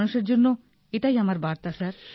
মানুষের জন্য এটাই আমার বার্তা স্যার